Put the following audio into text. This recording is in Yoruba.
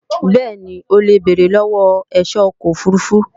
bẹ́ẹ̀ni, o lè béèrè lọ́wọ́ ẹ̀ṣọ́ ọkọ̀ òfurufú